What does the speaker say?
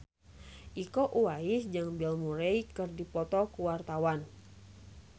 Iko Uwais jeung Bill Murray keur dipoto ku wartawan